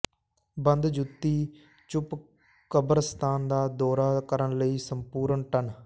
ਬੰਦ ਜੁੱਤੀ ਚੁੱਪ ਕਬਰਸਤਾਨ ਦਾ ਦੌਰਾ ਕਰਨ ਲਈ ਸੰਪੂਰਣ ਟਨ